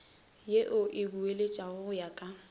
ye e boeletšwago ya go